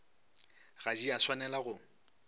ga di a swanela go